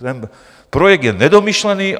Ten projekt je nedomyšlený.